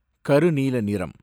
கருநீல நிறம்